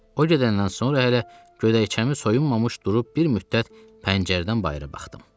O gedəndən sonra hələ gödəkcəmi soyunmamış durub bir müddət pəncərədən bayıra baxdım.